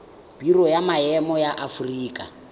biro ya maemo ya aforika